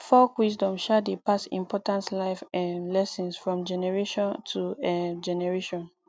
folk wisdom um dey pass important life um lessons from generation to um generation